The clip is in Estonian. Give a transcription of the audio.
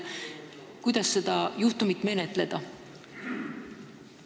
Kuidas seda juhtumit menetleda?